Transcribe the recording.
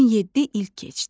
17 il keçdi.